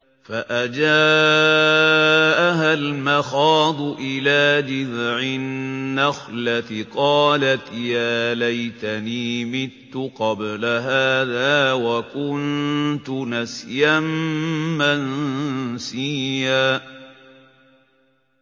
فَأَجَاءَهَا الْمَخَاضُ إِلَىٰ جِذْعِ النَّخْلَةِ قَالَتْ يَا لَيْتَنِي مِتُّ قَبْلَ هَٰذَا وَكُنتُ نَسْيًا مَّنسِيًّا